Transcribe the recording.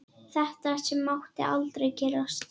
Þetta sem mátti aldrei gerast.